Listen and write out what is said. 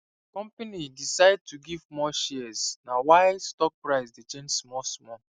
company decide to give more shares na why stock price dey change smallsmall